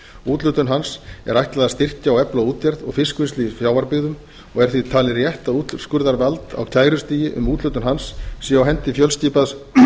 úthlutun hans er ætlað að styrkja og efla útgerð og fiskvinnslu í sjávarbyggðum og er því talið rétt að úrskurðarvald á kærustigi um úthlutun hans sé á hendi fjölskipaðs